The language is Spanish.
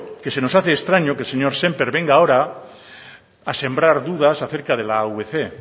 que se nos hace extraño que el señor sémper venga ahora a sembrar dudas acerca de la avc